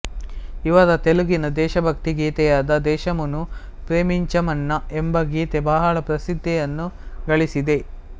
ಇವರ ತೆಲುಗಿನ ದೇಶಭಕ್ತಿ ಗೀತೆಯಾದ ದೇಶಮುನು ಪ್ರೇಮಿಂಚಮನ್ನ ಎಂಬ ಗೀತೆ ಬಹಳ ಪ್ರಸಿದ್ಧಿಯನ್ನು ಗಳಿಸಿದೆ